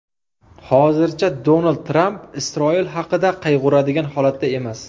Hozircha Donald Tramp Isroil haqida qayg‘uradigan holatda emas.